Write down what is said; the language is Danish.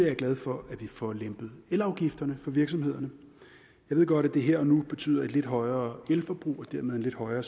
jeg glad for at vi får lempet elafgifterne for virksomhederne jeg ved godt at det her og nu betyder et lidt højere elforbrug og dermed en lidt højere